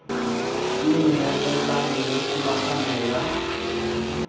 le nyalelano le tomagano ya